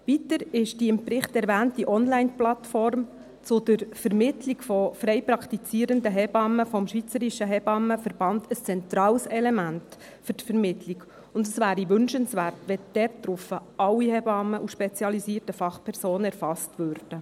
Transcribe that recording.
Weiter ist die im Bericht erwähnte Onlineplattform zur Vermittlung frei praktizierender Hebammen des SHV ein zentrales Element für die Vermittlung, und es wäre wünschenswert, wenn alle Hebammen und spezialisierten Fachpersonen dort erfasst würden.